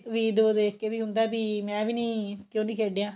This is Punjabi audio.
video ਦੇਖ ਕੇ ਵੀ ਹੁੰਦਾ ਕਿ ਮੈਂ ਵੀ ਨੀ ਕਿਉਂ ਨੀ ਖੇਡਿਆ